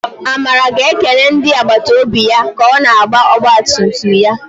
Amara ga-ekele ndị agbata obi ya ka ọ na-agba ọgba tum tum ya.